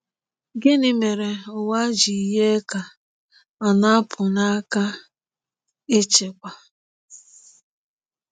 Gịnị mere ụwa ji yie ka ọ na-apụ n’aka ịchịkwa?